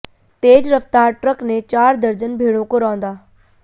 तेज रफ्तार ट्रक ने चार दर्जन भेड़ों को रौंदा